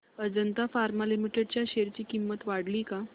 Ajanta pharma limited च्या share ची किंमत वाढली का